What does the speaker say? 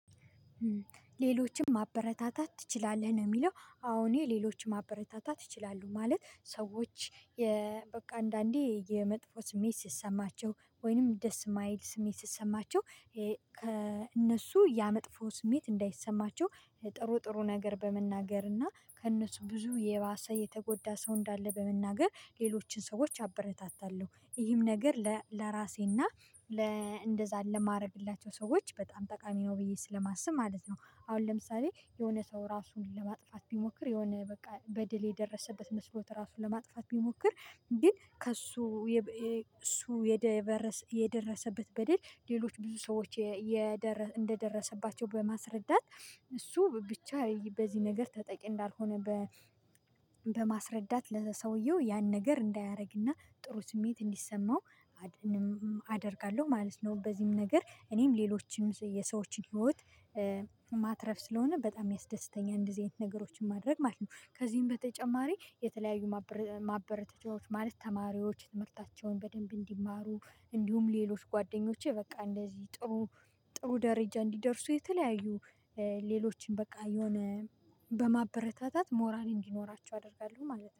ሌሎችም ማበረታታት ትችላለህ ነው የሚለው አዎ የሌሎችም ማበረታታት ይችላሉ ማለት ሰዎች በቃ አንዳንዴ የመጥፎ ስሜት ስሰማቸው ወይንም ደስ ማይል ስሜት ስሰማቸው ከእነሱ ያ መጥፎ ስሜት እንዳይሰማቸው ጥሩ ጥሩ ነገር በመናገር እና ከእነሱ ብዙ የባሰ የተጎዳ ሰው እንዳለ በመናገር ሌሎችን ሰዎች አበረታታለሁ። ይህም ነገር ለራሴና ለእንደዛ ለማድረግላቸው ሰዎች በጣም ጠቃሚ ነው ብዬ ስለማስብ ማለት ነው። አሁን ለምሳሌ የሆነ ሰው ራሱን ለማጥፋት ቢሞክር የሆነ በቃ በደል የደረሰበት መስሎት ራሱን ለማጥፋት ቢሞክር። ግን ከእሱ እሱ የደረሰበት በሌሎች ብዙ ሰዎች እንደደረሰባቸው በማስረዳት እሱ ብቻ በዚህ ነገር ተጠቂ እንዳልሆነ በማስረዳት ለሰውየው ያን ነገር እንዳያደርግና ጥሩ ስሜት እንዲሰማው አደርጋለሁ ማለት ነው። በዚህም ነገር እኔም ሌሎችንም የሰዎችን ህይወት ማትረፍ ስለሆነ በጣም ያስደስተኛል። እንደዚህ አይነት ነገሮችን ማድረግ ማለት ነው። ከዚህም በተጨማሪ የተለያዩ ማበረተቻዎች ማለት ተማሪዎች ትምህርታቸውን በደንብ እንዲማሩ እንዲሁም ሌሎች ጓደኞቼ በቃ እንደዚህ ጥሩ ጥሩ ደረጃ እንዲደርሱ የተለያዩ ሌሎችን በቃ የሆነ በማበረታታት ሞራል እንዲኖራቸው አደርጋለሁ ማለት ነው